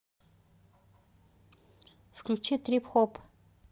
включи трип хоп